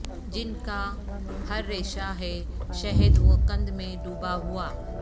جنکا ہر ریشہ ہے شہد و قند میں ڈوبا ہوا